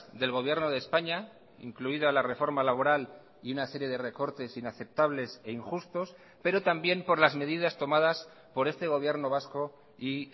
del gobierno de españa incluida la reforma laboral y una serie de recortes inaceptables e injustos pero también por las medidas tomadas por este gobierno vasco y